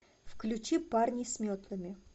включи парни с метлами